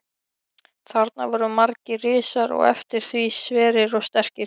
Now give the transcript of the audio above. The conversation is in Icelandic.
Þarna voru margir risar og eftir því sverir og sterkir.